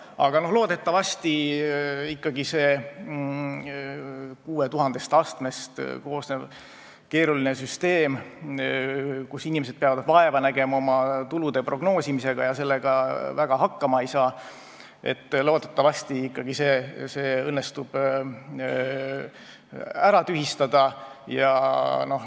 Aga noh, loodetavasti ikkagi õnnestub see 6000 astmest koosnev keeruline süsteem, kus inimesed peavad vaeva nägema oma tulude prognoosimisega ja sellega väga hakkama ei saa, ära tühistada.